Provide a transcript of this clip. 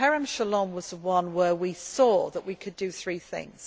Kerem Shalom was the one where we saw that we could do three things.